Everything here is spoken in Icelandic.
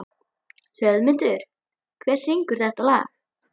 Hlöðmundur, hver syngur þetta lag?